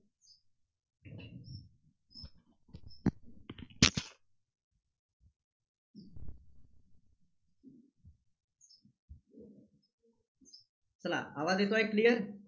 चला आवाज येतोय clear?